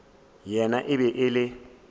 yena e be e le